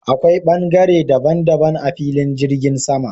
Akwai ɓangare daban daban a filin jirgin sama.